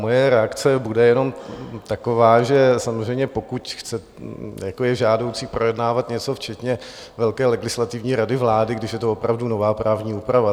Moje reakce bude jenom taková, že samozřejmě pokud je žádoucí projednávat něco včetně velké Legislativní rady vlády, když je to opravdu nová právní úprava.